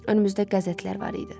Önümüzdə qəzetlər var idi.